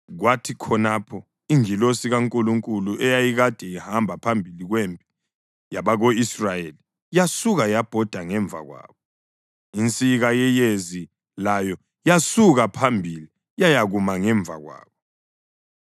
Kwathi khonapho ingilosi kaNkulunkulu eyayikade ihamba phambili kwempi yabako-Israyeli yasuka yabhoda ngemva kwabo. Insika yeyezi layo yasuka phambili yayakuma ngemva kwabo,